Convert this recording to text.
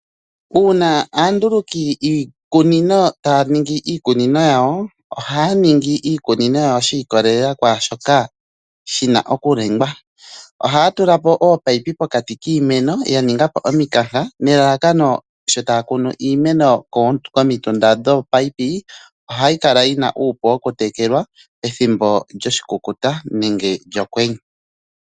Uuna aanduluki yiikunino taya ningi iikunino yawo ohaya ningi iikunino yawo shiikolelela kwaashoka shi na okuningwa ohaya tulapo ominino pokati kiimeno ya ningapo ominkanka nelalakano sho taya kunu iimeno komitunda dhominino ohayi kala yi na uupu wokutekelwa ethimbo lyoshikukuta nenge lyokwenye.